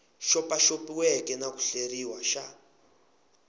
xopaxopiweke na ku hleriwa xa